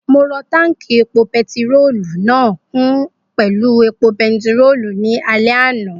Mo rọ táùnkì epo pẹtirólù náà kún pẹ̀lú epo bẹntíòòlù ní alẹ́ àná